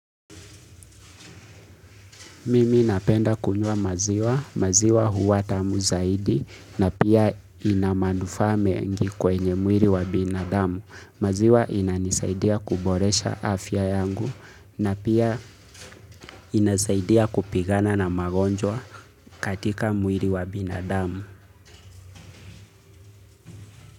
Mimi napenda kunywa maziwa, maziwa huwa tamu zaidi na pia ina manufaa mengi kwenye mwili wa binadamu. Maziwa inanisaidia kuboresha afya yangu na pia inasaidia kupigana na magonjwa katika mwili wa binadamu.